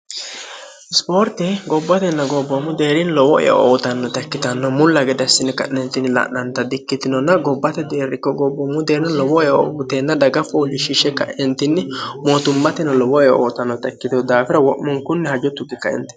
sipoorti gobbatenna gobboommu deerin lowoeo ootannota ikkitanno mulla gedassini ka'nentinni la'nanta di ikkitinonna gobbate deerrikko gobboommu deerin lowoe o buteenna daga foolishshishe ka'entinni mootummateno lowoeo ootannota ikkitenu daafira wo'munkunni hajottu bikainti